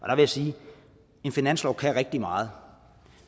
jeg sige en finanslov kan rigtig meget